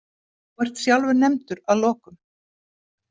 Þú ert sjálfur nefndur að lokum.